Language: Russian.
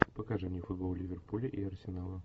покажи мне футбол ливерпуля и арсенала